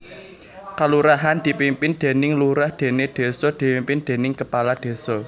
Kalurahan dipimpin déning lurah déné désa dipimpin déning kepala désa